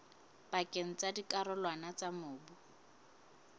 pakeng tsa dikarolwana tsa mobu